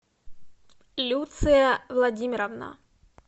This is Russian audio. люция владимировна